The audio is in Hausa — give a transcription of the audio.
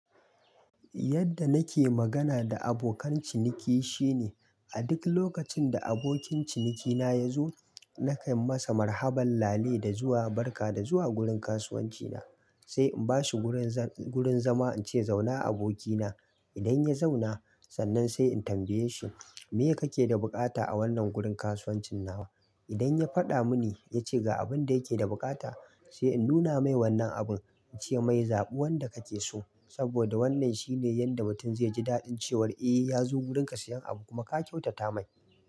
Yadda nake magana da abokan ciniki shine a duk lokacin da abokin cinikina ya zo, nakan masa marhaban lale da zuwa, barka da zuwa gurin kasuwancina. Sai in bashi gurin zama, in ce zauna abokina. Idan ya zauna, sannan sai in tambaye shi me kake da buƙata a wannan gurin kasuwancin nawa? Idan ya faɗa muni, ya ce ga abin da yake da buƙata, sai in nuna mai wannan abun, ice mai zaɓi wanda kake so. Saboda wannan shine yadda mutum zai ji daɗin cewar eh ya zo wurinka sayan abu, kuma ka kyautata mai.